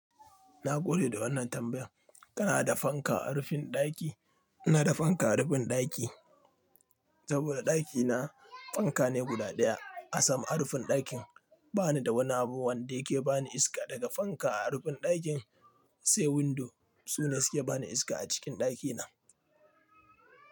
Na gode da wannan tambayan. Kana da fanka a rufin ɗaki? Na da fanka a rufin ɗaki. Saboda ɗakina fanka ne guda ɗaya a sama a rufin ɗakin. Bani da wani abu wanda yake bani iska daga fanka a rufin ɗakin. Sai windo su ne suke bani iska a cikin ɗakina.